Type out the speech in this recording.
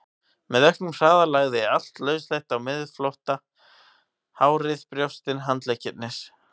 Með auknum hraða lagði allt lauslegt á miðflótta, hárið, brjóstin, handleggirnir.